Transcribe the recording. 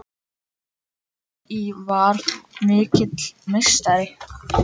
Gangi þér vel í Val þú mikli meistari!